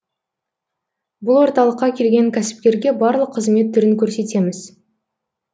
бұл орталыққа келген кәсіпкерге барлық қызмет түрін көрсетеміз